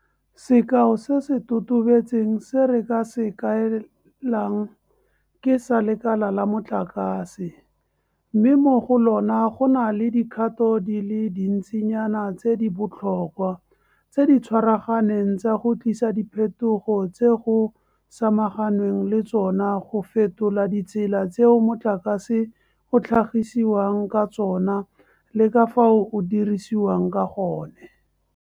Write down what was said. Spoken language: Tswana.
Sekao se se totobetseng se re ka se kaelang ke sa lekala la motlakase, mme mo go lona go na le dikgato di le dintsinyana tse di botlhokwa, tse di tshwaraganeng tsa go tlisa diphetogo tse go samaganweng le tsona go fetola ditsela tseo motlakase o tlhagisiwang ka tsona le ka fao o dirisiwang ka gone.